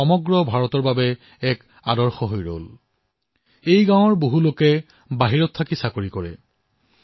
সেই গাঁৱৰ বহু লোকে বাহিৰত চাকৰি কৰিছিল